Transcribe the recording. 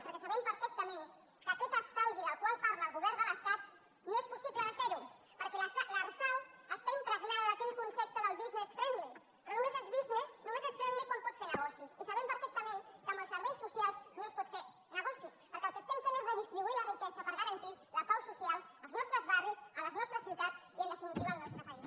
perquè sabem perfectament que aquest estalvi del qual parla el govern de l’estat no és possible fer lo perquè l’arsal està impregnada d’aquell concepte del business friendly però només és friendlyquan pot fer negoci i sabem perfectament que amb els serveis socials no es pot fer negoci perquè el que estem fent és redistribuir la riquesa per garantir la pau social als nostres barris a les nostres ciutats i en definitiva al nostre país